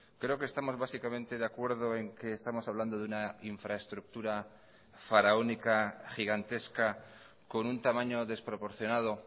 creo que estamos básicamente de acuerdo en que estamos hablando de una infraestructura faraónica gigantesca con un tamaño desproporcionado